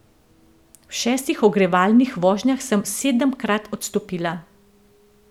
V šestih ogrevalnih vožnjah sem sedemkrat odstopila.